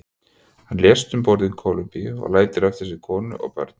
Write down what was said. Hann lést um borð í Kólumbíu og lætur eftir sig konu og börn.